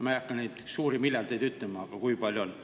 Ma ei hakka ütlema, kui palju miljardeid on.